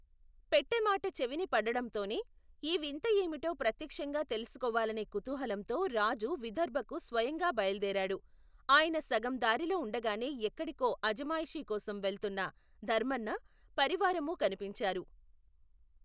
పెట్టెమాట చెవిని బడటంతోనే ఈవింత యేమిటో ప్రత్యక్ష్యంగా తెలుసుకోవాలనే కుతూహలంతో రాజు విదర్భకు స్వయంగా బయల్దేరాడు ఆయన సగందారిలో ఉండగానే ఎక్కడికో అజమాయీషీకోసం వెళుతున్న ధర్మన్న పరివారమూ కనిపించారు.